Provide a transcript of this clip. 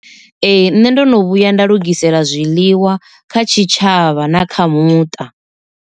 Ee, nṋe ndo no vhuya nda lugisela zwiḽiwa kha tshitshavha na kha muṱa.